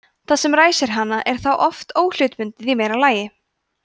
það sem ræsir hana er þá oft óhlutbundið í meira lagi